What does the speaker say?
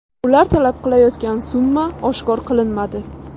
Ular talab qilayotgan summa oshkor qilinmadi.